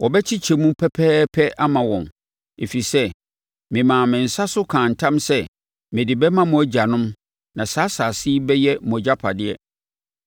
Wobɛkyekyɛ mu pɛpɛɛpɛ ama wɔn. Ɛfiri sɛ memaa me nsa so kaa ntam sɛ mede bɛma mo agyanom na saa asase yi bɛyɛ mo agyapadeɛ.